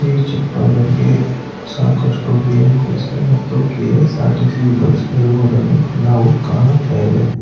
ಈ ಚಿತ್ರದಲ್ಲಿ ಸಾಕಷ್ಟು ಬಿ_ಎಂ_ಟಿ_ಸಿ ಮತ್ತು ಕೆ_ಎಸ್_ಆರ್_ಟಿ_ಸಿ ಬಸ್ ಇರುವುದನ್ನು ನಾವು ಕಾಣುತ್ತೇವೆ.